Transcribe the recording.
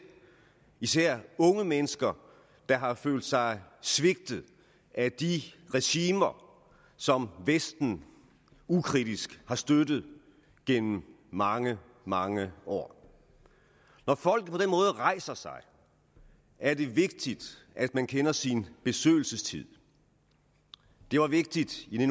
især unge mennesker der har følt sig svigtet af de regimer som vesten ukritisk har støttet gennem mange mange år når folk på rejser sig er det vigtigt at man kender sin besøgelsestid det var vigtigt i